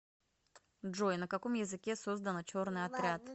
джой на каком языке создано черный отряд